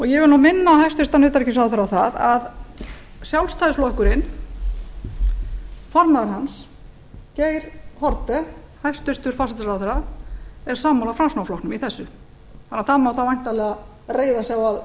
ég vil minna hæstvirtan utanríkisráðherra á að formaður sjálfstæðisflokksins geir haarde hæstvirtur forsætisráðherra er sammála framsóknarflokknum í þessu og það má þá væntanlega reiða sig á að